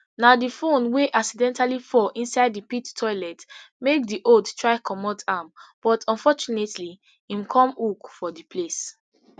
na di phone wey accidentally fall inside di pit toilet make di old try comot am but unfortunately im come hook for di place